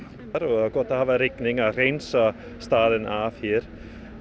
það er gott að hafa rigningu til að hreinsa staðinn af hér